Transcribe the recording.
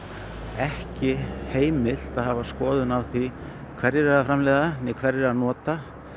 ekki heimilt að hafa skoðun á því hverjir eru að framleiða né hverjir eru að nota